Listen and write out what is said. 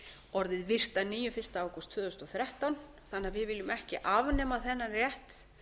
orðið virkt að nýju fyrsta ágúst tvö þúsund og þrettán þannig að við viljum ekki afnema þennan rétt